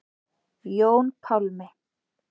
Jón Pálmi.